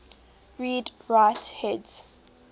read write heads